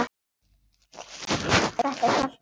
Þetta hélt hún.